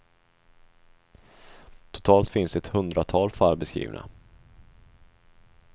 Totalt finns ett hundratal fall beskrivna.